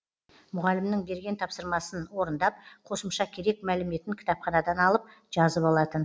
мұғалімнің берген тапсырмасын орындап қосымша керек мәліметін кітапханадан алып жазып алатын